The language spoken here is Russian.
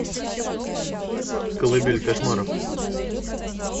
колыбель кошмаров